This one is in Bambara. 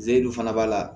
Zeri fana b'a la